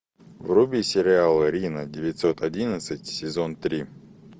вруби сериал рино девятьсот одиннадцать сезон три